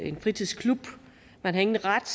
en fritidsklub man har ingen ret